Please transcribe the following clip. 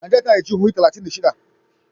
Najeriya tana da jihohi talatin da shida.